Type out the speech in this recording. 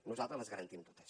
nosaltres les garantim totes